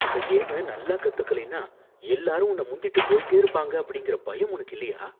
இந்த கேம நல்லா கத்துக்கலைனா எல்லாரும் உன்னை முந்திட்டு போயிட்டே இருப்பாங்க அப்படிங்கிற பயம் உனக்கு இல்லையா?